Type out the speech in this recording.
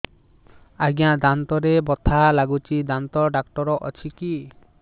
ଆଜ୍ଞା ଦାନ୍ତରେ ବଥା ଲାଗୁଚି ଦାନ୍ତ ଡାକ୍ତର ଅଛି କି